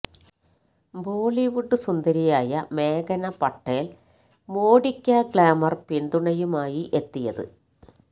ബോളിവുഡ് സുന്ദരിയായ മേഘ്ന പട്ടേല് ണ് മോഡിയ്ക്ക് ഗ്ലാമര് പിന്തുണയുമായി എത്തിയത്